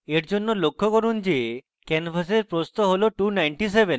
এরজন্য লক্ষ্য করুন যে ক্যানভাসের প্রস্থ হল 297